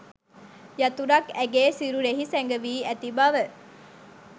යතුරක් ඇගේ සිරුරෙහි සැඟවී ඇති බව